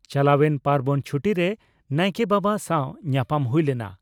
ᱪᱟᱞᱟᱣᱮᱱ ᱯᱟᱨᱵᱚᱱ ᱪᱷᱩᱴᱤ) ᱨᱮ ᱱᱟᱭᱠᱮ ᱵᱟᱵᱟ ᱥᱟᱣ ᱧᱟᱯᱟᱢ ᱦᱩᱭ ᱞᱮᱱᱟ ᱾